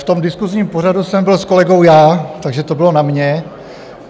V tom diskusním pořadu jsem byl s kolegou já, takže to bylo na mě.